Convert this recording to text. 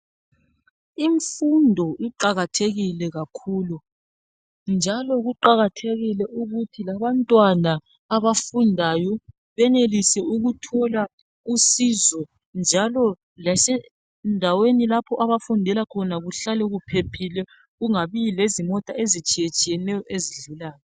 Imfundo iqakathekile kakhulu njalo kuqakathekile ukuthi abantwana abafundayo benelise ukuthola usizo njalo lasendaweni lapho abafundela khona kuhlale kuphephile kungabi lezimota ezitshiye tshiyeneyo ezidlulayo.